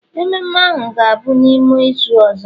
Mmemme ahu ga-abụ n'ime izu ọzọ